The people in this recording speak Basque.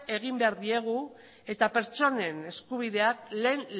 egin behar diegu eta pertsonen eskubideak lehen